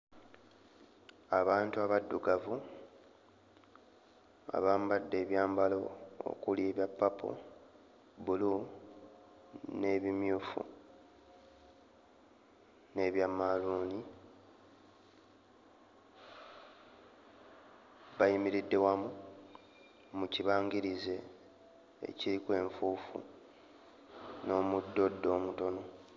Abantu abaddugavu abambadde ebyambalo okuli ebya purple, bbulu n'ebimyufu n'ebya mmaaluuni bayimiridde wamu mu kibangirize ekiriko enfuufu n'omuddoddo omutono.